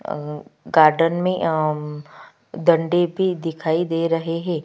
अअ garden में अम्म्म डंडे भी दिखाई दे रहे हैं।